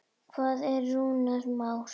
Hvar er Rúnar Már?